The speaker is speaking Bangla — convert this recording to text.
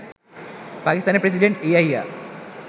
পাকিস্তানের প্রেসিডেন্ট ইয়াহিয়া